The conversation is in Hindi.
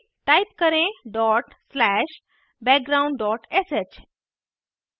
अब टाइप करें dot slash background dot sh